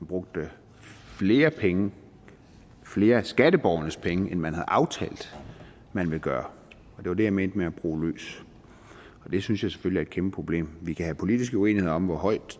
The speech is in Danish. brugte flere penge flere af skatteborgernes penge end man havde aftalt at man ville gøre det var det jeg mente med at bruge løs og det synes jeg selvfølgelig kæmpe problem vi kan have politiske uenigheder om hvor højt